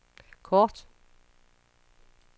kort